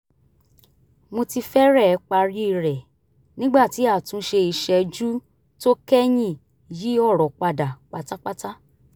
mo ti fẹ́rẹ̀ẹ́ parí rẹ̀ nígbà tí àtúnṣe ìṣẹ́jú tó kẹ́yìn yí ọ̀rọ̀ padà pátápátá